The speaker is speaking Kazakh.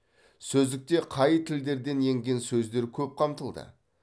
сөздікте қай тілдерден енген сөздер көп қамтылды